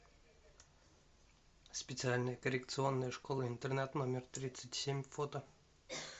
специальная коррекционная школа интернат номер тридцать семь фото